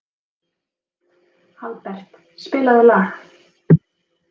Albert, spilaðu lag.